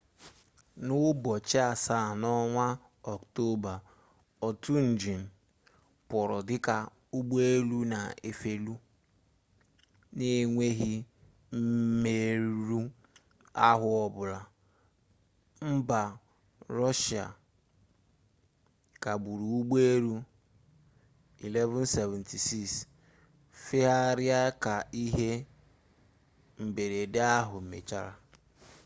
n'ụbọchị nke asaa n'ọnwa oktoba otu njin pụrụ dịka ụgbọelu na-efeli n'enweghị mmerụ ahụ ọbụla mba rọshia kagburu ụgbọelu il-76s ifegharị ka ihe mberede ahụ mechara